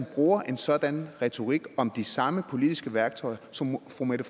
bruger en sådan retorik om de samme politiske værktøjer som fru mette